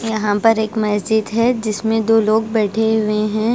यहाँ पर एक मैजिक है जिसमे दो लोग बैठे हुए हैं।